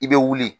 I bɛ wuli